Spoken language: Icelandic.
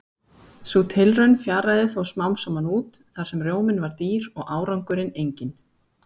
Sú tilraun fjaraði þó smám saman út þar sem rjóminn var dýr og árangurinn enginn.